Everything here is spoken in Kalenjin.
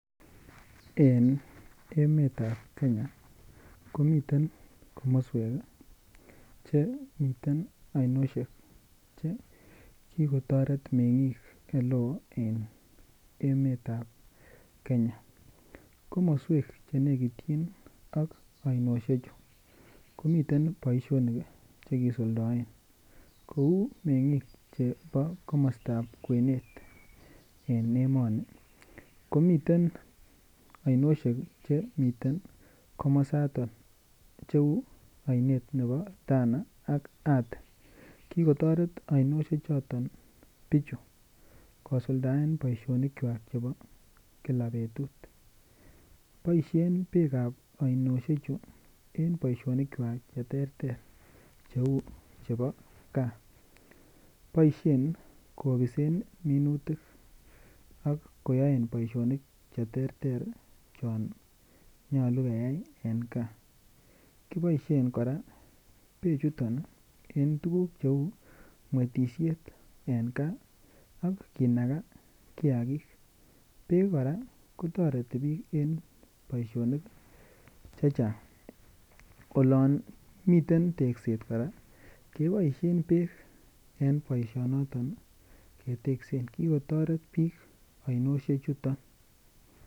En emetab kenya komiten komoswek chemiten ainosiek che kikotoret meng'ik eleo en emetab kenya komoswek chemekityin ak ainosiechu komiten boisionik chekisuldoen kou meng'ik chebo komostab kwenet en emoni komiten ainosiek chemiten komosaton cheu ainet nebo Tana ak Athi kikotoret ainosiechoton bichu kosuldaen boisionikchwak chebo kila betut boisien beekab ainosiechu en boisionik cheterter cheu chebo gaa boisien kobisen minutik akoyoen boisionik cheterter chon nyolu keyai eng ngaa koboisien kora bechuton en tuguk cheu mwetisiet en gaa ak kinagaa kiagik beek kora kotoreti biik en boisionik chechang olon miten tekset kora keboisien beek en boisionoton ii keteksen kikotoret biik ainosiechuto.